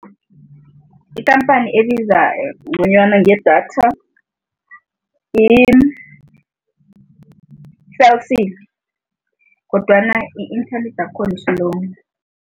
Ikhamphani elbiza ngconywana ngedatha yi-Cell C kodwana i-inthanethi yakhona i-slow.